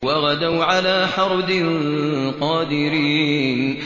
وَغَدَوْا عَلَىٰ حَرْدٍ قَادِرِينَ